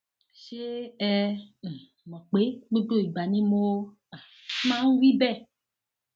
ṣé ẹ um mọ pé gbogbo ìgbà ni mo um máa ń wí bẹẹ